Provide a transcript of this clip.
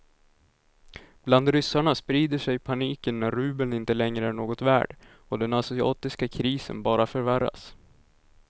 Bland ryssarna sprider sig paniken när rubeln inte längre är något värd och den asiatiska krisen bara förvärras.